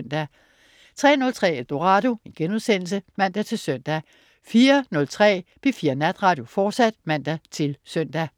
03.03 Eldorado* (man-søn) 04.03 P4 Natradio, fortsat (man-søn)